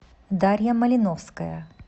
дарья малиновская